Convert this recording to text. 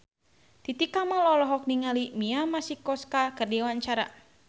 Titi Kamal olohok ningali Mia Masikowska keur diwawancara